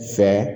Fɛ